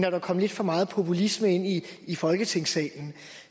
at der kommer lidt for meget populisme ind i i folketingssalen